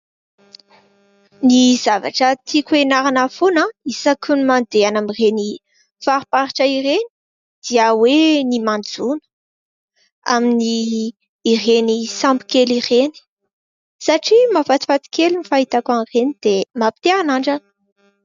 Ny zavatra tiako hianarana foana isaky ny mandeha any amin'ireny fariparitra ireny dia hoe ny manjono amin'ny ireny sambokely ireny satria mahafatifaty kely ny fahitako an'ireny dia mampite hanandrana.